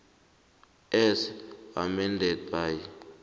as amended by